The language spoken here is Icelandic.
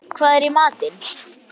Hallsteinn, hvað er í matinn?